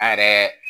An yɛrɛ